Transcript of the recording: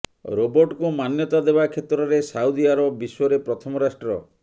ରୋବଟକୁ ମାନ୍ୟତା ଦେବା କ୍ଷେତ୍ରରେ ସାଉଦି ଆରବ ବିଶ୍ୱରେ ପ୍ରଥମ ରାଷ୍ଟ୍ର